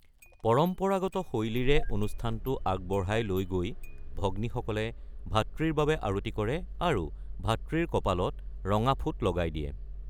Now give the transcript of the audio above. পৰম্পৰাগত শৈলীৰে অনুষ্ঠানটো আগবঢ়াই লৈ গৈ ভগ্নীসকলে ভাতৃৰ বাবে আৰতি কৰে আৰু ভাতৃৰ কপালত ৰঙা ফোঁট লগাই দিয়ে।